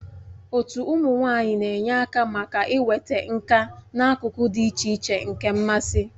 Otu ụmụ nwanyị na-enye aka maka inweta nka n'akụkụ dị iche iche nke mmasị.